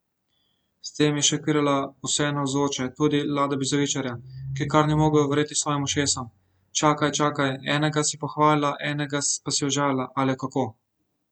S tem je šokirala vse navzoče, tudi Lada Bizovičarja, ki kar ni mogel verjeti svojim ušesom: "Čakaj, čakaj, enega si pohvalila, enega pa si užalila, ali kako?